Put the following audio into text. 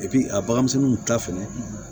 a baganmisɛnninw ta fɛnɛ